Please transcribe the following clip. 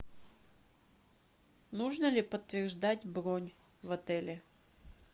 нужно ли подтверждать бронь в отеле